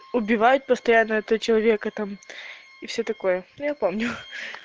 убивают постоянно это человека там и все такое но я помню